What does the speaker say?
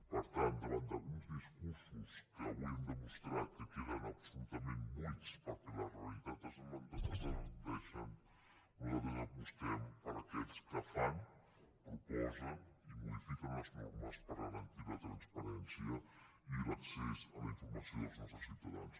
per tant davant d’alguns discursos que avui han demostrat que queden absolutament buits perquè la realitat els desmenteix nosaltres apostem per aquells que fan proposen i modifiquen les normes per garantir la transparència i l’accés a la informació dels nostres ciutadans